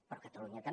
però catalunya també